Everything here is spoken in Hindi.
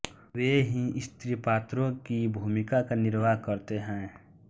वे ही स्त्री पात्रों की भूमिका का निर्वाह करते हैं